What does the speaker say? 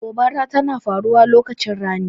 Gobara tana faruwa lokacin rani.